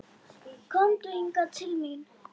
Komdu hingað til mín.